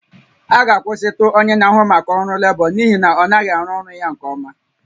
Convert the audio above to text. A ga-akwụsịtụ onye na-ahụ maka ọrụ lebọ n'ihi na ọ naghị arụ ọrụ ya nke ọma